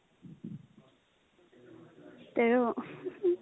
তেৰ